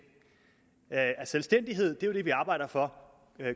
selvstændighed menneskerettigheder er det vi arbejder for